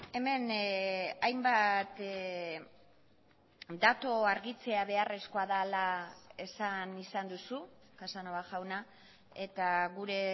hemen hainbat datu argitzea beharrezkoa dela esan izan duzu casanova jauna eta gure